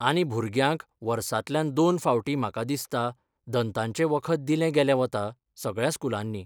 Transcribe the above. आनी भुरग्यांक वर्सांतल्यान दोन फावटीं म्हाका दिसता, दंताचें वखद दिलें गेलें वता, सगळ्या स्कुलांनी.